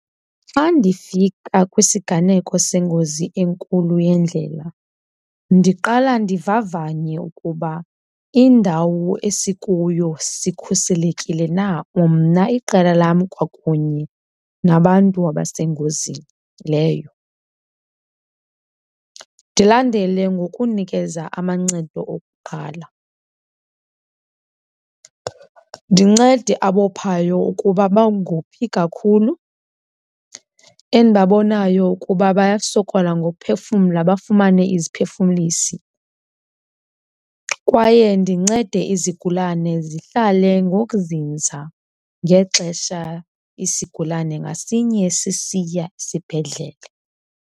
Xa ndifika kwisiganeko sengozi enkulu yendlela ndiqala ndivavanye ukuba indawo esikuyo sikhuselekile na, umna, iqela lam kwakunye nabantu abasengozini leyo, ndilandele ngokunikeza amancedo okuqala. Ndincede abophayo ukuba bangophi kakhulu, endibabonayo ukuba bayasokola ngophefumla bafumane iziphefumlisi kwaye ndincede izigulane zihlale ngokuzinza ngexesha isigulane ngasinye sisiya esibhedlele.